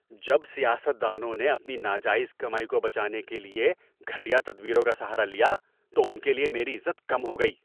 جب سیاست دانوں نے اپنی ناجائز کمائی کو بچانے کے لیے گھٹیا تدبیروں کا سہارا لیا تو ان کے لیے میری عزت کم ہو گئی۔